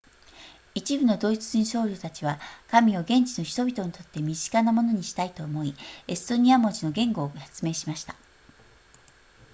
一部のドイツ人僧侶たちは神を現地の人々にとって身近なものにしたいと思いエストニア文字の言語を発明しました